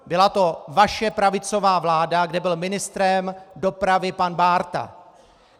Byla to vaše pravicová vláda, kde byl ministrem dopravy pan Bárta.